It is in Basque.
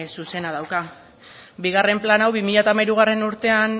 zuzena dauka bigarren plan hau bi mila hamairugarrena urtean